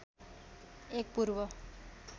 एक पूर्व